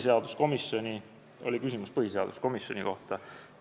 Siin oli küsimus põhiseaduskomisjoni kohta.